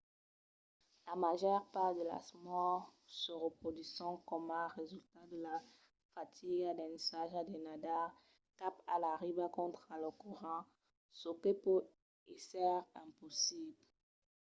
la màger part de las mòrts se produsisson coma resultat de la fatiga d'ensajar de nadar cap a la riba contra lo corrent çò que pòt èsser impossible